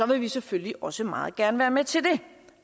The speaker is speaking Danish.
vil vi selvfølgelig også meget gerne være med til det